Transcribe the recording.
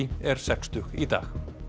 er sextug í dag